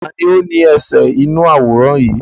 Taàní ó ní ẹsẹ̀ inú àwòrán yìí?